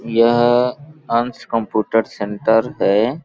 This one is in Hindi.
यह अंश कम्पुटर सेंटर है।